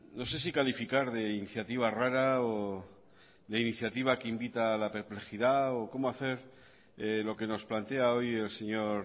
no sé si calificar de iniciativa rara o de iniciativa que invita a la perplejidad o cómo hacer lo que nos plantea hoy el señor